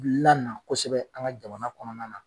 lana kosɛbɛ an ka jamana kɔnɔna na